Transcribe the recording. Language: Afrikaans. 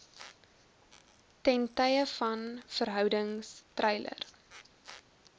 ttv verhoudings treiler